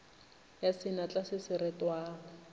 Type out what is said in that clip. ya senatla se se retwago